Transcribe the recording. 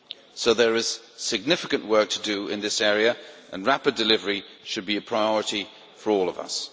So there is significant work to do in this area, and rapid delivery should be a priority for all of us.